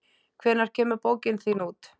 Hvenær kemur bókin þín út?